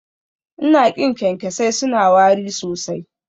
Ina ƙin kyankyasai, suna wari sosai